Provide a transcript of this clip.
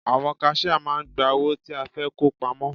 Àwọn kaṣíá máà ń gba owó tí a fẹ́ kó pamọ́.